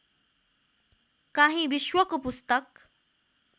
काहीँ विश्वको पुस्तक